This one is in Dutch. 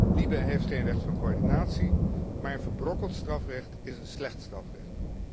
De Commissie LIBE heeft geen recht van coördinatie, maar verbrokkeld strafrecht is een slecht strafrecht.